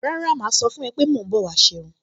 Rárá, màá sọ fún-un pé mò ń bọ̀ wá ṣe irun